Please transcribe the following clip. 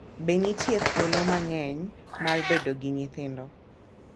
Be nitie thuolo mang’eny mar bedo gi nyithindo